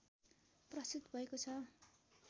प्रस्तुत भएको छ